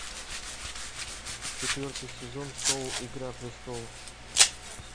четвертый сезон шоу игра престолов